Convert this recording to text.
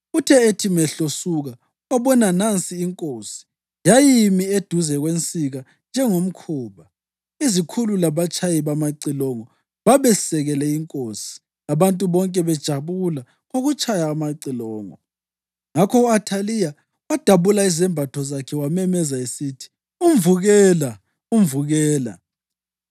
Uthe ethi mehlo suka, wabona nansi inkosi, yayimi eduze kwensika njengomkhuba. Izikhulu labatshayi bamacilongo babesekele inkosi, abantu bonke bejabula ngokutshaya amacilongo. Ngakho u-Athaliya wadabula izembatho zakhe wamemeza esithi, “Umvukela! Umvukela!”